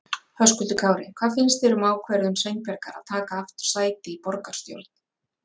Höskuldur Kári: Hvað finnst þér um þá ákvörðum Sveinbjargar að taka aftur sæti í borgarstjórn?